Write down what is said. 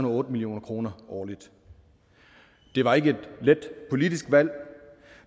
og otte million kroner årligt det var ikke et let politisk valg